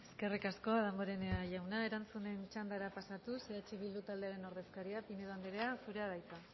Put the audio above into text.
eskerrik asko damborenea jauna erantzunen txandara pasatuz eh bildu taldearen ordezkaria pinedo andrea zurea da hitza